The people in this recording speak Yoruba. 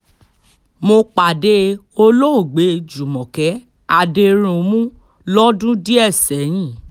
mo pàdé olóògbé júmọ́kẹ́ adẹ̀rùnmù lọ́dún díẹ̀ sẹ́yìn